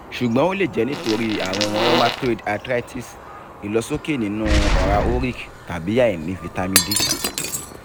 ṣugbọn o le jẹ nitori arun rheumatoid arthritis ilosoke ninu ọra uric tabi aini vitamin d